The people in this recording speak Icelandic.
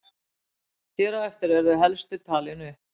Hér á eftir eru þau helstu talin upp.